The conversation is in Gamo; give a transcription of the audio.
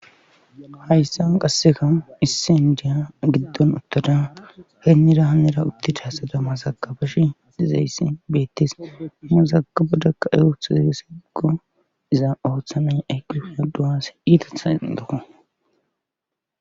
hayssan qasseka issindiya giddon uttoda heenni rahanera uttida hasadamma zakabesh dizayssi beettis nuzaka bodakka ey oothu zegesiigo iza ooththamay ayqifiya duwas iitathan doko